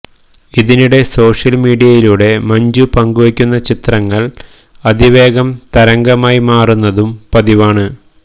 ഇതിനിടെ സോഷ്യല് മീഡിയയിലൂടെ മഞ്ജു പങ്കുവെക്കുന്ന ചിത്രങ്ങള് അതിവേഗം തരംഗമായി മാറുന്നതും പതിവാണ്